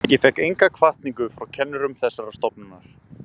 Ég fékk enga hvatningu frá kennurum þessarar stofnunar.